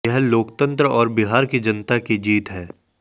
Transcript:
यह लोकतंत्र और बिहार की जनता की जीत है